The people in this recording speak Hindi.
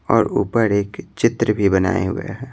और ऊपर एक चित्र भी बनाए हुए हैं।